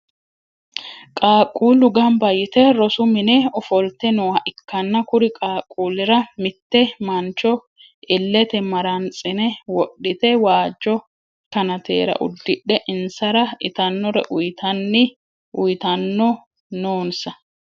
qaquulu ganba yitte rosu minne ofolitte nooha ikanna kuri qaquulira mitte mancho ilete marantsire wodhite waajo kannatera udidhe insara itanore uyitanno noonsa.